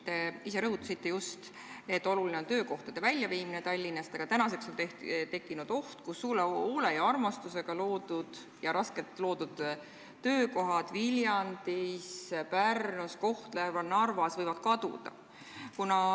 Te ise just rõhutasite, et oluline on töökohti Tallinnast välja viia, aga nüüd on tekkinud oht, kus hoole ja armastuse ja vaevaga loodud töökohad Viljandis, Pärnus, Kohtla-Järvel ja Narvas võivad kaduda.